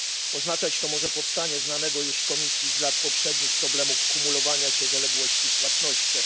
Oznaczać to może powstanie znanego już Komisji z lat poprzednich problemu kumulowania się zaległości w płatnościach.